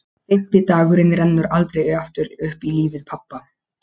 Fimmti dagurinn rennur aldrei aftur upp í lífi pabba.